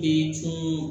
Den cun